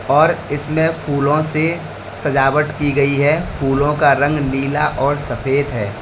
और इसमें फूलों से सजावट की गई है फूलों का रंग नीला और सफेद है।